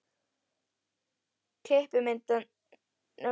Klippimyndirnar fékk ég stundarfjórðungi fyrir opnun.